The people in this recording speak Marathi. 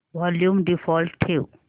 वॉल्यूम डिफॉल्ट ठेव